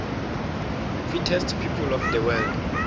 fittest people of the world